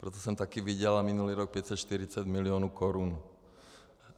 Proto jsem taky vydělal minulý rok 540 milionů korun.